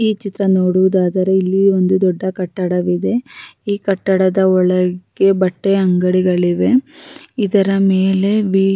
ಈ ಚಿತ್ರ ನೋಡುವುದಾದರೆ ಇಲ್ಲಿ ಒಂದು ದೊಡ್ಡ ಕಟ್ಟಡವಿದೆ ಈ ಕಟ್ಟಡದ ಒಳಗೆ ಬಟ್ಟೆ ಅಂಗಡಿಗಳಿವೆ ಇದರ ಮೇಲೆ--